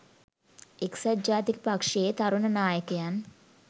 එක්සත් ජාතික පක්ෂයේ තරුණ නායකයන්